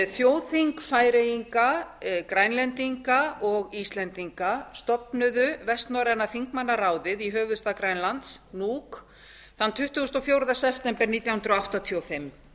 þjóðþing færeyinga grænlendinga og íslendinga stofnuðu vestnorræna þingmannaráðið í höfuðstað grænlands nuuk tuttugasta og fjórða september nítján hundruð áttatíu og fimm